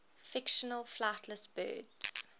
fictional flightless birds